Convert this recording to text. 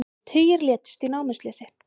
Tugir létust í námuslysi